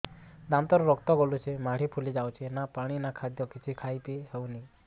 ଦାନ୍ତ ରୁ ରକ୍ତ ଗଳୁଛି ମାଢି ଫୁଲି ଯାଉଛି ନା ପାଣି ନା ଖାଦ୍ୟ କିଛି ଖାଇ ପିଇ ହେଉନି